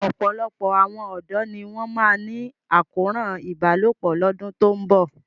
Ọ̀pọ̀lọpọ̀ àwọn ọ̀dọ́ ni wọ́n máa ní àkóràn ìbálòpọ̀ lọ́dún tó ń bọ̀.